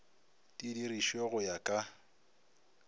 di dirišwe go ya ka